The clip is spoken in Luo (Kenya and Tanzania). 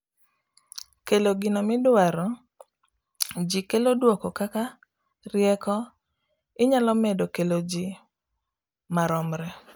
kelo gino midwaro ji kelo duoko kaka rieko inyalo medo kelo ji maromre